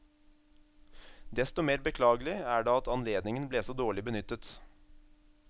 Desto mer beklagelig er det at anledningen ble så dårlig benyttet.